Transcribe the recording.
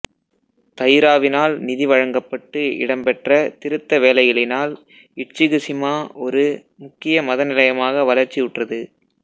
தைராவினால் நிதி வழங்கப்பட்டு இடம்பெற்ற திருத்த வேலைகளினால் இட்சுகுசிமா ஒரு முக்கிய மத நிலையமாக வளர்ச்சியுற்றது